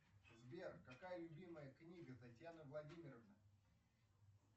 сбер какая любимая книга татьяны владимировны